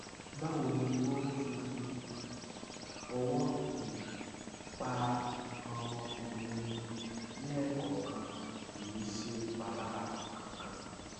báwo ni o fífi um ọwọ um pa nǹkan ọmọkùnrin ẹni lẹẹkọọkan kì í ṣèpalára kankan